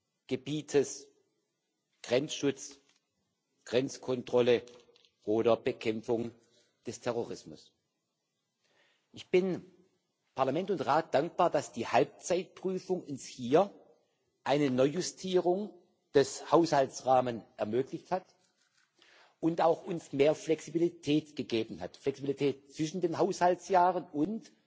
Hoheitsgebietes, Grenzschutz, Grenzkontrolle oder Bekämpfung des Terrorismus. Ich bin Parlament und Rat dankbar, dass die Halbzeitprüfung uns hier eine Neujustierung des Haushaltsrahmens ermöglicht hat und uns auch mehr Flexibilität gegeben hat, Flexibilität zwischen den Haushaltsjahren